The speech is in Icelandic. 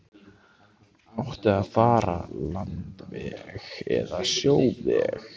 Átti að fara landveg eða sjóveg?